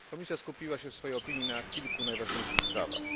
Komisja skupiła się w swojej opinii na kilku najważniejszych sprawach.